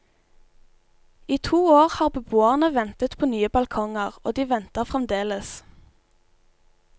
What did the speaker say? I to år har beboerne ventet på nye balkonger, og de venter fremdeles.